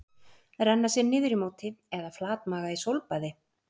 Renna sér niður í móti eða flatmaga í sólbaði?